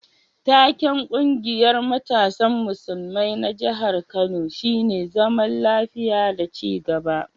Taken ƙungiyar matasan musulmai na jihar Kano shine zaman lafiya da ci gaba.